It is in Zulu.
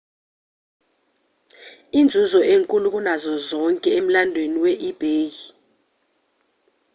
inzuzo enkulu kunazo zonke emlandweni we-ebay